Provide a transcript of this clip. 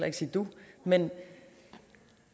ikke sige du men